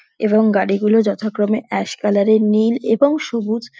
এবং গাড়িগুলো যথাক্রমে অ্যাশ কালার -এর নীল এবং সবুজ |